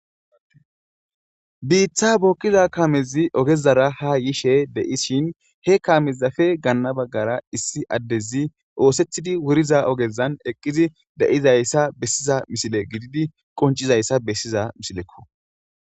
biiththa bookkiza kaamezi ogezara ha yishe dei shin he kaamezafe ganana baggara issi addezi oosethidi wuriza ogezan eqqizi de7izayssa bessiza misile gididi qoncizayssa bessiza misilekko